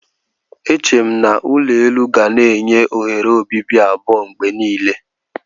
Eche m na ulo elu ga na-enye oghere obibi abụọ mgbe niile.